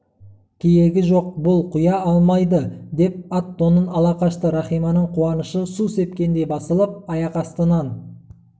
кейегі жоқ бұл құя алмайды деп ат-тонын ала қашты рахиманың қуанышы су сепкендей басылып аяқ астынан